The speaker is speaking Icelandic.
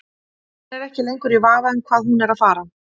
Hann er ekki lengur í vafa um hvað hún er að fara.